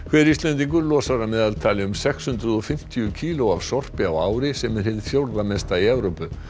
hver Íslendingur losar að meðaltali um sex hundruð og fimmtíu kíló af sorpi á ári sem er hið fjórða mesta í Evrópu